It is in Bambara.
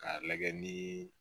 K'a lajɛ ni